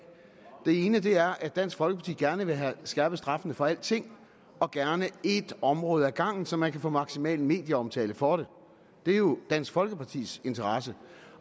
den ene er at dansk folkeparti gerne vil have skærpet straffene for alting og gerne ét område ad gangen så man kan få maksimal medieomtale for det det er jo dansk folkepartis interesse